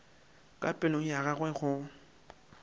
ka pelong ya gagwe o